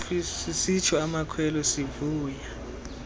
sisitsho amakhwelo sivuya